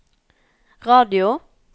radio